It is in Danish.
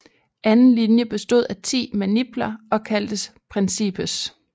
Anden linje bestod af 10 manipler og kaldtes principes